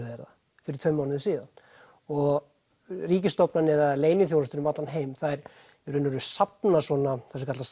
þeir það fyrir tveimur mánuðum síðan og ríkisstofnanir eða leyniþjónustur um allan heim þær í raun og veru safna svona það sem kallast